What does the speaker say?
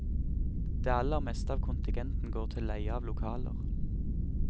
Det aller meste av kontingenten går til leie av lokaler.